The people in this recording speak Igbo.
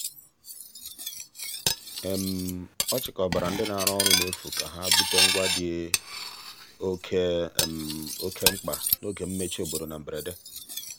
ọ chịkọbara ndị na-arụ ọrụ n'efu ka ha bute ngwa ndị dị oke oke mkpa n'oge mmechi obodo na mberede.